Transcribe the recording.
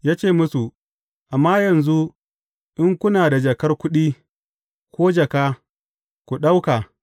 Ya ce musu, Amma yanzu, in kuna da jakar kuɗi, ko jaka, ku ɗauka.